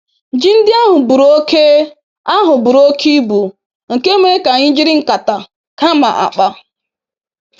Ji ndị ahụ buru oke ahụ buru oke ibu, nke mere ka anyị jiri nkata kama akpa.